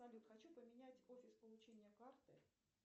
салют хочу поменять офис получения карты